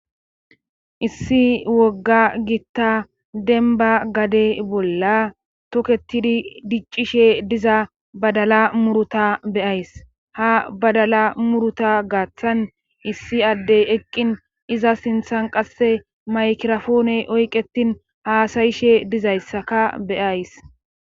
issi wogga giitta denba gade bolla toketidi diccishe diza badala muruta beyays ha badala muruta gaththan issi addey eqqin iza sinthan qasse maykirafoone oyqetin haasayishe dizayssaka beyays